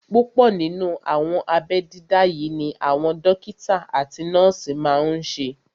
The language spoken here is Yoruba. Púpọ̀ nínú àwọn abẹ́ dídá yí ni àwọn dókítà àti nọ́ọ̀sì máa n ṣe